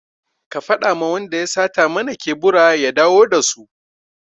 Ka faɗa ma wanda ya sata mana kebura ya dawo da su!